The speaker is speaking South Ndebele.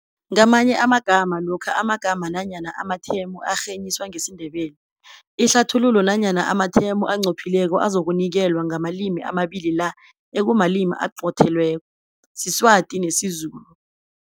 Ngamanye amagama lokha amagama nanyana amathemu arhenyiswa ngesindebele, ihlathululo nanyana amathemu onqophileko azokunikelwa ngamalimi amabili la ekumalimi aqothelweko, Sizwati nesiZulu.